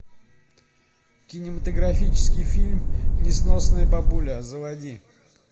кинематографический фильм несносная бабуля заводи